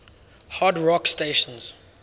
hard rock stations